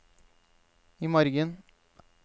imorgen